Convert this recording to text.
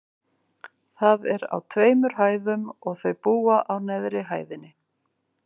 Það er á tveimur hæðum, og þau búa á neðri hæðinni.